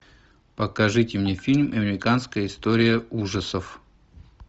покажите мне фильм американская история ужасов